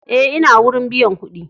Eh, n'na wurin biyan kuɗi.